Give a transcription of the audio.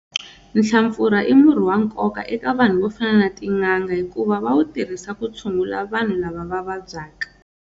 Nhlampfura i murhi wa nkoka eka vanhu vo fana na tin'anga hikuva va wu tirhisa ku tshungula vanhu lava va vabyaka.